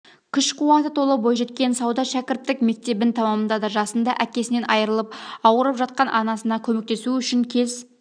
күш-қуатқа толы бойжеткен сауда шәкірттік мектебін тәмамдады жасында әкесінен айырылып ауырып жатқан анасына көмектесу үшін кез